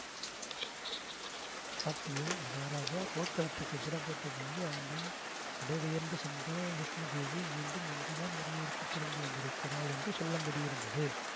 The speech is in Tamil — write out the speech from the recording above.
பார்த்திப மகாராஜா போர்க்களத்துக்குப் புறப்பட்ட போது அவருடன் புடை பெயர்ந்து சென்ற லக்ஷ்மி தேவி மீண்டும் இன்றுதான் உறையூருக்குத் திரும்பி வந்திருக்கிறாள் என்று சொல்லும்படியிருந்தது